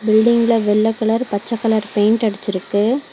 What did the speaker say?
பில்டிங்க்ல வெள்ள கலர் பச்ச colour paint அடுச்சிருக்கு.